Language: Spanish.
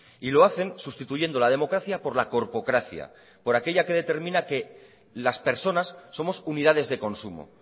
y lo hacen sustituyendo la democracia por la corpocracia por aquella que determina que las personas somos unidades de consumo